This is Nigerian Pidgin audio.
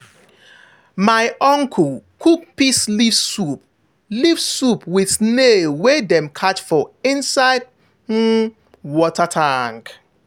my uncle cook peace leaf soup leaf soup with snail wey dem catch for inside um water tank.